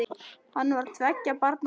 Hann var tveggja barna faðir.